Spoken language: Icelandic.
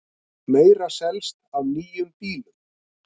Meira selst af nýjum bílum